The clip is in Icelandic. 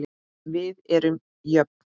Við erum jöfn.